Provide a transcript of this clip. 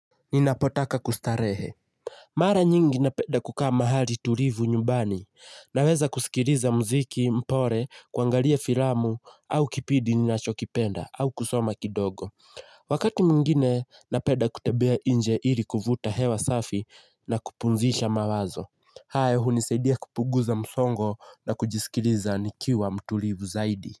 Ninapotaka kustarehe. Mara nyingi napenda kukaa mahali tulivu nyumbani. Naweza kusikiliza mziki, mpole, kuangalia filamu, au kipidi ninachokipenda, au kusoma kidogo. Wakati mwingine, napenda kutembea nje ili kuvuta hewa safi na kupumzisha mawazo. Hayo, hunisaidia kupunguza msongo na kujisikiliza nikiwa mtulivu zaidi.